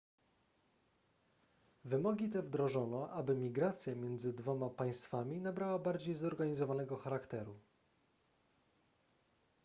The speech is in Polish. wymogi te wdrożono aby migracja między dwoma państwami nabrała bardziej zorganizowanego charakteru